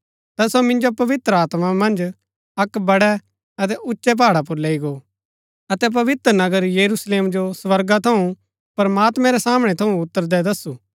ता सो मिन्जो पवित्र आत्मा मन्ज अक्क बड़ै अतै उच्चै पहाड़ा पुर लैई गो अतै पवित्र नगर यरूशलेम जो स्वर्गा थऊँ प्रमात्मैं रै सामणै थऊँ उतरदै दसु